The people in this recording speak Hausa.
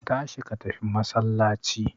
Ka tashi ka tafi masallaci